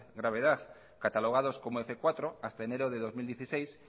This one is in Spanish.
gravedad catalogados como f cuatro hasta enero de dos mil dieciséis